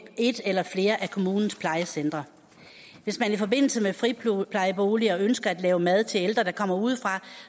et eller flere af kommunens plejecentre hvis man i forbindelse med friplejeboliger ønsker at lave mad til ældre der kommer udefra